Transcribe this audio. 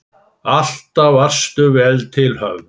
Alltaf varstu vel til höfð.